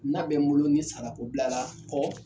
N'a bɛ n bolo ni sarako bilara kɔ